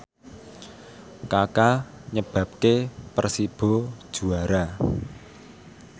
Kaka nyebabke Persibo juara